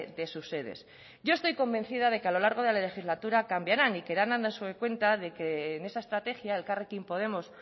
de sus sedes yo estoy convencida de que a lo largo de la legislatura cambiarán y que irán dándose cuenta de que en esa estrategia elkarrekin podemos